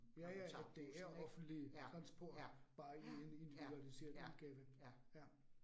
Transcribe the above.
Ja ja, at det er offentlig transport, bare i en individualiseret udgave. Ja